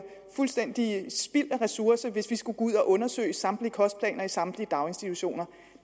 fuldstændig spild af ressourcer hvis vi skulle gå ud og undersøge samtlige kostplaner i samtlige daginstitutioner